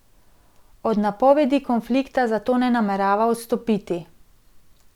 Od napovedi konflikta zato ne namerava odstopiti.